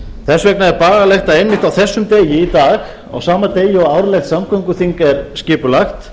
þess vegna er bagalegt að einmitt á þessum degi í dag á sama degi og árlegt samgönguþing er skipulagt